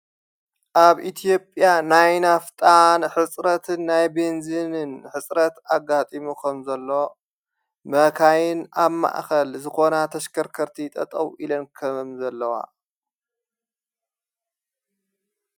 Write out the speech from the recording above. ኣብ ኢቲዮጵያ ናይ ናፍጣን ሕጽረትን ናይ ቤንዝንን ሕጽረት ኣጋጢምኾም ዘለዋ መካይን ኣብ ማእኸል ዝኾና ተሽከርከርቲ ጠጠው ኢለን ከም ዘለዋ።